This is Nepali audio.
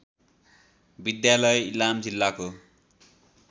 विद्यालय इलाम जिल्लाको